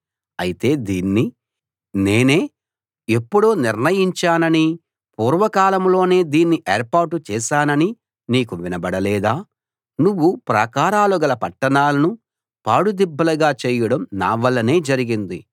అయితే దీన్ని నేనే ఎప్పుడో నిర్ణయించాననీ పూర్వకాలంలోనే దీన్ని ఏర్పాటు చేశాననీ నీకు వినబడలేదా నువ్వు ప్రాకారాలు గల పట్టణాలను పాడుదిబ్బలుగా చేయడం నా వల్లనే జరిగింది